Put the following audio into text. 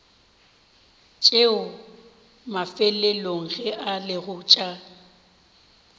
tšeo mafelelong e lego tša